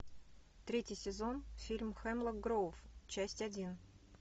третий сезон фильм хемлок гроув часть один